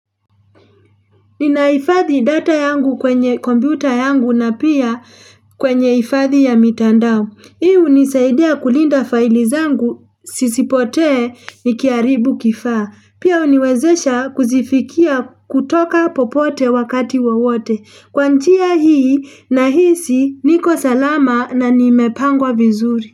Ninaifadhi data yangu kwenye computer yangu na pia kwenye ifadhi ya mitandao. Hii u nisaidia kulinda faili zangu sisipotee nikiaribu kifaa. Pia uniwezesha kuzifikia kutoka popote wakati wowote. Kwa njia hii na hisi niko salama na nimepangwa vizuri.